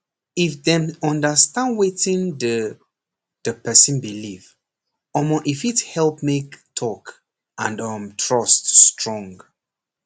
if dem understand wetin the the person believe omor e fit help make talk and um trust strong